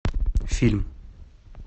фильм